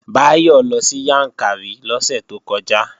Báyọ̀ lọ sí Yàǹkàrí lọ́sẹ̀ tó kọjá